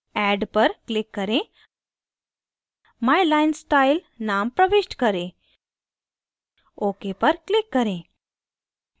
add पर click करें my line style name प्रविष्ट करें ok पर click करें